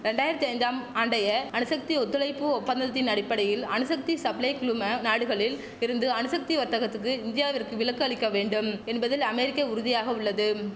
ரெண்டாராயிரத்து ஐந்தாம் ஆண்டைய அணுசக்தி ஒத்துழைப்பு ஒப்பந்தத்தின் அடிப்படையில் அணுசக்தி சப்ளை குழும நாடுகளில் இருந்து அணுசக்தி வர்த்தகத்துக்கு இந்தியாவிற்க்கு விலக்கு அளிக்க வேண்டும் என்பதில் அமெரிக்க உறுதியாக உள்ளது